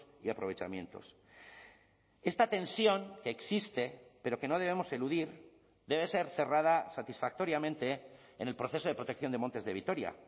y aprovechamientos esta tensión que existe pero que no debemos eludir debe ser cerrada satisfactoriamente en el proceso de protección de montes de vitoria